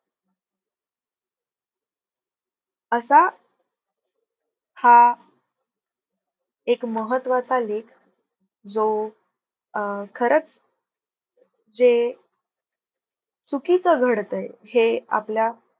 असा हा एक महत्वाचा लेख जो अं खरंच जे चुकीचं घडतंय हे आपल्या